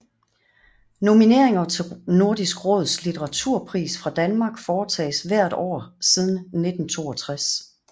Nomineringer til Nordisk Råds litteraturpris fra Danmark foretages hvert år siden 1962